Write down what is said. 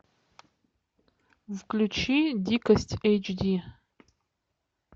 включи дикость эйч ди